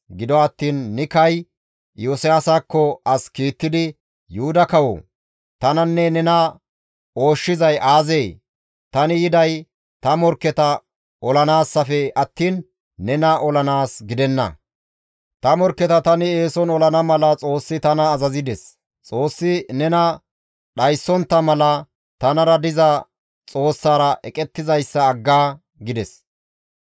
Gido attiin Nikay Iyosiyaasakko as kiittidi, «Yuhuda kawoo! Tananne nena ooshshizay aazee? Tani yiday ta morkketa olanaassafe attiin nena olanaas gidenna. Ta morkketa tani eeson olana mala Xoossi tana azazides. Xoossi nena dhayssontta mala tanara diza Xoossaara eqettizayssa agga» gides.